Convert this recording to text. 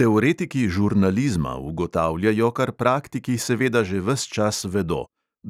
Teoretiki žurnalizma ugotavljajo, kar praktiki seveda že ves čas vedo,